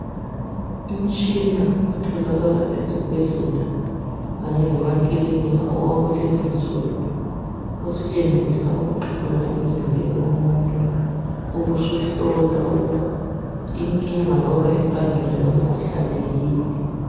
Umtshina otholakala ezibhedlela kanye lemakilinika owakulensuku, osetshenziswa ukuxhunywa emzimbeni womuntu ubusuhlola ukuba inkinga loba imbangela yomkhuhlane yini.